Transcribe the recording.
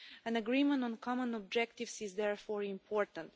An agreement on common objectives is therefore important.